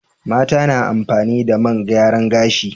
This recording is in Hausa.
Mata na amfani da man gyaran gashi.